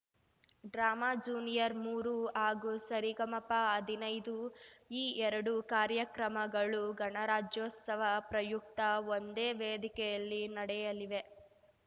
drama ಜೂನಿಯರ್ಸ್‌ಮೂರು ಹಾಗೂ ಸರಿಗಮಪಹದಿನೈದು ಈ ಎರಡೂ ಕಾರ್ಯಕ್ರಮಗಳು ಗಣರಾಜ್ಯೋಸ್ತವ ಪ್ರಯುಕ್ತ ಒಂದೇ ವೇದಿಕೆಯಲ್ಲಿ ನಡೆಯಲಿವೆ